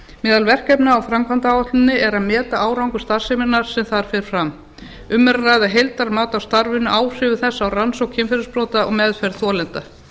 meðal verkefna á framkvæmdaáætlun er að meta árangur starfseminnar sem þar fer fram um er að ræða heildarmat á starfinu áhrifum þess á rannsókn kynferðisbrota og meðferð þolenda